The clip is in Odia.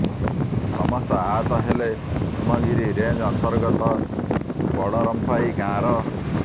ସମସ୍ତ ଆହତ ହେଲେ ହେମଗିରି ରେଞ୍ଚ ଅନ୍ତର୍ଗତ ବଡ଼ରମ୍ପାଇ ଗାଁର